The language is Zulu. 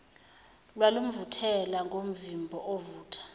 lwalumvuthela ngomvimbo ovutha